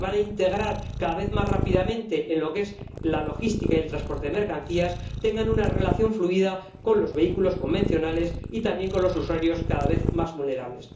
que se van a integrar cada vez más rápidamente en la logística y el transporte de mercancías, tengan una relación fluida con los vehículos convencionales y también con los usuarios, cada vez más vulnerables.